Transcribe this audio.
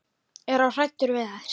Er of hræddur við þær.